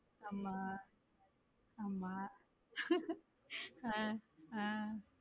ஆமா ஆமா உம் உம்